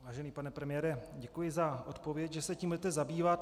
Vážený pane premiére, děkuji za odpověď, že se tím budete zabývat.